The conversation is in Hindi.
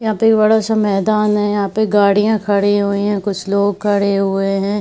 यहा पे एक बडा-सा मैदान है यहा पे गाड़िया खड़ी हुईं हैं कुछ लोग खड़े हुए हैं।